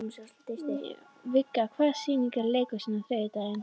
Viggi, hvaða sýningar eru í leikhúsinu á þriðjudaginn?